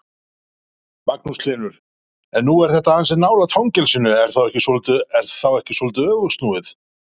Magnús Hlynur: En nú er þetta ansi nálægt fangelsinu, er þá ekki svolítið öfugsnúið?